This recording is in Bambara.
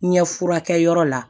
Ɲɛ furakɛ yɔrɔ la